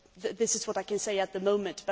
This is what I can say at the moment.